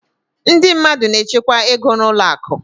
Ndị mmadụ na-echekwa ego n'ụlọ akụ.